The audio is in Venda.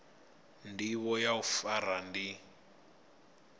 ndivho ya u fara ndi